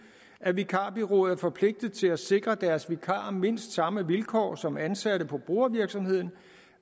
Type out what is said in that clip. at vikarbureauet er forpligtet til at sikre deres vikarer mindst samme vilkår som ansatte på brugervirksomheden